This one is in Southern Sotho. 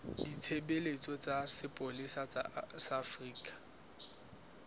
ditshebeletso tsa sepolesa sa afrika